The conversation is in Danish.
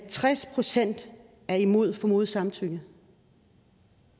tres procent er imod formodet samtykke